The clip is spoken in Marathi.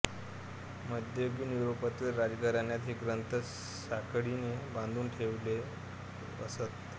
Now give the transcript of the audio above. मध्ययुगीन युरोपातील राजघराण्यात हे ग्रंथ साखळीने बांधून ठेवीत असत